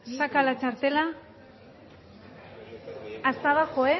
saca la txartela hasta abajo